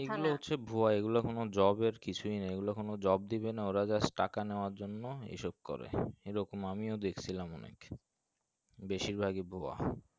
মনে হচ্ছে ভুয়ো এ গুলা কোনো job এর কিছুই নাই এই গুলা কোনো job দিবে না ওরা just টাকা নেওয়ার জন্য এসব করে এ রকম আমি ও দেখসিলাম অনেক বেশির ভাগই ভুয়ো